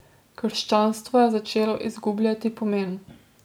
Krščanstvo je začelo izgubljati pomen.